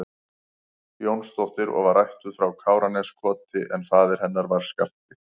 Jónsdóttir og var ættuð frá Káraneskoti en faðir hennar var Skafti